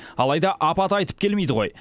алайда апат айтып келмейді ғой